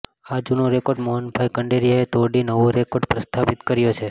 આ જુનો રેકોર્ડ મોહનભાઈ કુંડારીયાએ તોડી નવો રેકોર્ડ પ્રસ્થાપિત કર્યો છે